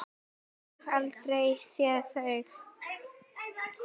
Ég hef aldrei séð þau!